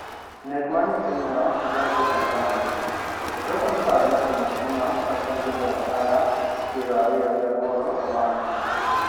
Nek mar nyithindo Njombe Tanzania: Jogo miparo ni otimo timno kaachiel gi johala pier ariyo gi aboro omaki.